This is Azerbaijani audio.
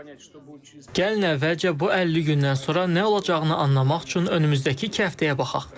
Gəlin əvvəlcə bu 50 gündən sonra nə olacağını anlamaq üçün önümüzdəki iki həftəyə baxaq.